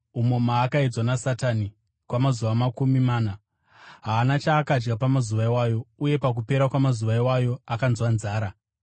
umo maakaedzwa naSatani kwamazuva makumi mana. Haana chaakadya pamazuva iwayo, uye pakupera kwamazuva iwayo akanzwa nzara.